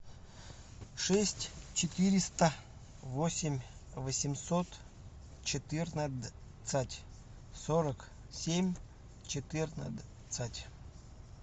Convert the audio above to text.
шесть четыреста восемь восемьсот четырнадцать сорок семь четырнадцать